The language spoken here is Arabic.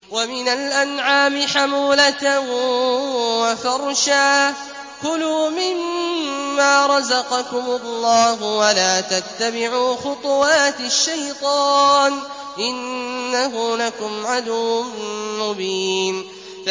وَمِنَ الْأَنْعَامِ حَمُولَةً وَفَرْشًا ۚ كُلُوا مِمَّا رَزَقَكُمُ اللَّهُ وَلَا تَتَّبِعُوا خُطُوَاتِ الشَّيْطَانِ ۚ إِنَّهُ لَكُمْ عَدُوٌّ مُّبِينٌ